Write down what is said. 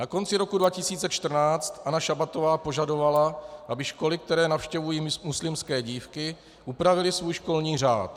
Na konci roku 2014 Anna Šabatová požadovala, aby školy, které navštěvují muslimské dívky, upravily svůj školní řád.